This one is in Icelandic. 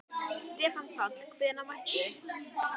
Stefán Páll: Hvenær mættuð þið?